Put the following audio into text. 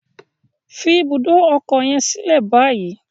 Fi ibùdó ọkọ yen silẹ bayi!